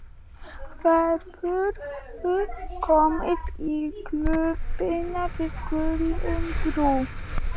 Hefurðu komið í Klúbbinn við Gullinbrú?